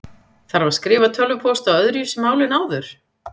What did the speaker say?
Þarf að skrifa tölvupóst á öðruvísi máli en áður?